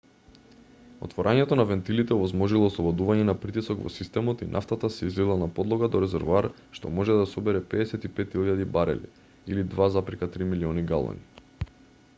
отворањето на вентилите овозможило ослободување на притисок во системот и нафтата се излила на подлога до резервоар што може да собере 55.000 барели 2,3 милиони галони